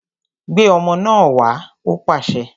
Gbé ọmọ náà wá! Ó pàṣẹ